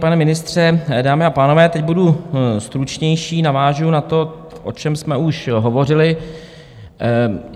Pane ministře, dámy a pánové, teď budu stručnější, navážu na to, o čem jsme už hovořili.